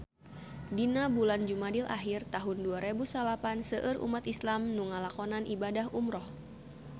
Dina bulan Jumadil ahir taun dua rebu salapan seueur umat islam nu ngalakonan ibadah umrah